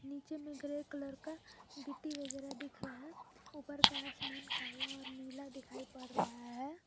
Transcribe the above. नीचे में grey colour का गिट्टी वगैरा दिख रहा ऊपर का आसमान काला और नीला दिखाई पड़ रहा है।